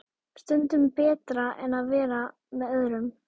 Stundum betra en að vera með öðrum.